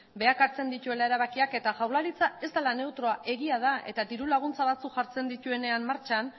berak hartzen dituen erabakiak eta jaurlaritza ez dela neutroa egia da eta diru laguntza batzuk jartzen dituenean martxan